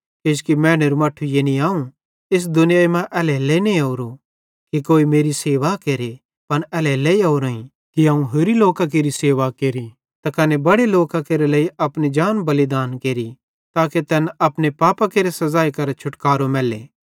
किजोकि मैनेरू मट्ठू यानी अवं एस दुनियाई मां एल्हेरेलेइ नईं ओरो कि कोई मेरी सेवा केरे पन एल्हेरेलेइ ओरोईं कि अवं होरि लोकां केरि सेवा केरि त कने बड़े लोकां केरे लेइ अपनी जान बलिदान केरि ताके तैन अपने पापां केरे सज़ाई केरां छुटकारो मैल्ले